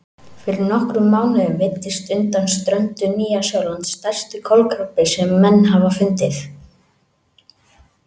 Fyrir nokkrum mánuðum veiddist undan ströndum Nýja-Sjálands stærsti kolkrabbi sem menn hafa fundið.